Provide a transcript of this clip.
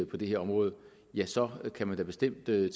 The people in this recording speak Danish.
på det her område ja så kan man da bestemt tage